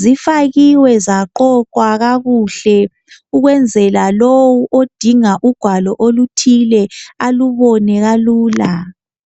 zifakiwe zaqoqwa kakuhle ukwenzela ukuthi lowo odinga ugwalo oluthile aluthole kalula